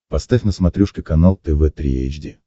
поставь на смотрешке канал тв три эйч ди